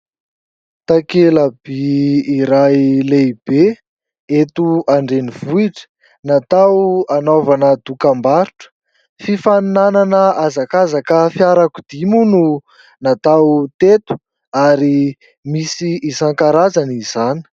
Takelaby iray lehibe eto an-drenivohitra, natao anaovana dokam-barotra. Fifaninanana hazakazaka fiarakodia moa no natao teto ary misy isankarazany izany.